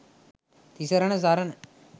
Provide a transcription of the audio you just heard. තිසරණ සරණ